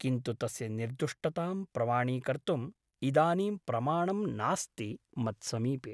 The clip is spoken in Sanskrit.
किन्तु तस्य निर्दुष्टतां प्रमाणीकर्तुम् इदानीं प्रमाणं नास्ति मत्समीपे ।